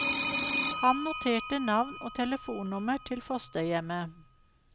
Han noterte navn og telefonnummer til fosterhjemmet.